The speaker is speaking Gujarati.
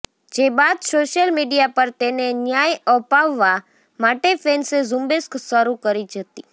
જે બાદ સોશિયલ મીડિયા પર તેને ન્યાય અપાવવા માટે ફેન્સે ઝુંબેશ શરુ કરી હતી